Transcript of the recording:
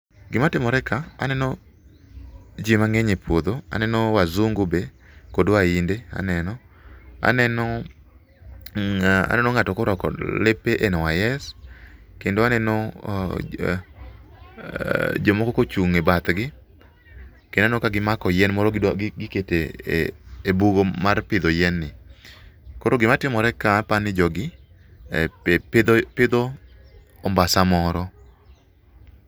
Gimatimore ka, aneno ji mang'eny e puodho, aneno wazungu be kod wainde aneno, aneno ng'ato korwako lepe NYC kendo aneno jomoko kochung' e bathgi, kendo aneno ka gimako yien moro giketo e bur mar pidho yienni. Koro gimatimore ka apa ni jogi, pidho ombasa moro .